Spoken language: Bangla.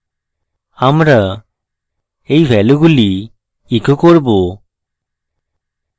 আমরা এই ভ্যালুগুলি echo করব